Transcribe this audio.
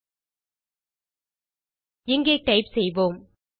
ஆகவே இங்கே டைப் செய்யலாம்